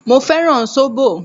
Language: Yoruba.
Mo fẹ́ràn sóbò.